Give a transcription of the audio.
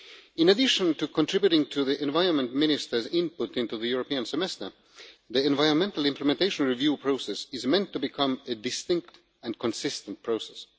In addition to contributing to the environment ministers' input into the European Semester, the environmental implementation review process is meant to become a distinct and consistent process.